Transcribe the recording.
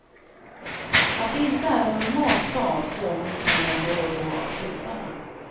Att det inte är en normal stad påminns man om då och då av skyltarna.